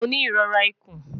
Mo ni irora ikun